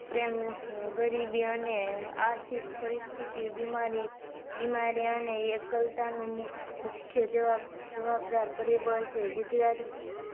પ્રેમ ગરીબી અને આથિક પરીસ્થીતી, બીમારી બીમારી અને એકલતા નુ મુખ્ય જવાબદાર પરીબળ છે